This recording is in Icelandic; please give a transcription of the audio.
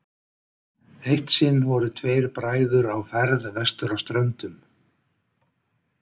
eitt sinn voru tveir bræður á ferð vestur á ströndum